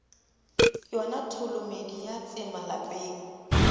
yona tholomedi ya tsema lapeng